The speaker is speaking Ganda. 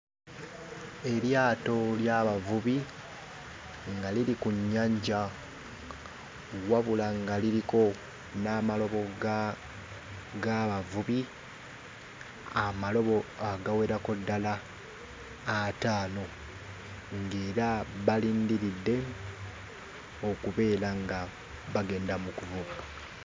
Eryato ly'abavubi nga liri ku nnyanja wabula nga liriko n'amalobo ga g'abavubi; amalobo agawerako ddala ataano ng'era balindiridde okubeera nga abagenda mu kuvuba.